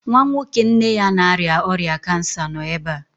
Nwa nwoke nne ya na-arịa ọrịa kansa nọ ebe a